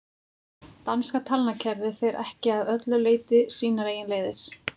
danska talnakerfið fer ekki að öllu leyti sínar eigin leiðir